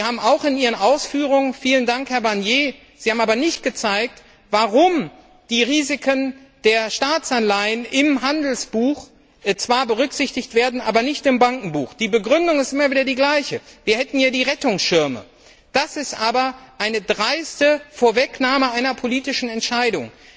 Sie sind in Ihren Ausführungen vielen Dank, Herr Barnier aber nicht darauf eingegangen, warum die Risiken der Staatsanleihen im Handelsbuch zwar berücksichtigt werden, im Bankenbuch jedoch nicht. Die Begründung ist immer wieder die gleiche Wir hätten ja die Rettungsschirme. Das ist aber eine dreiste Vorwegnahme einer politischen Entscheidung.